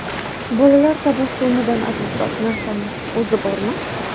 Bolalar tabassumidan azizroq narsaning o‘zi bormi?